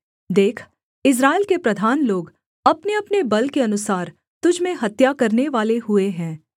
देख इस्राएल के प्रधान लोग अपनेअपने बल के अनुसार तुझ में हत्या करनेवाले हुए हैं